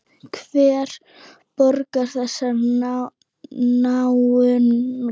Hver borgar þessum náunga?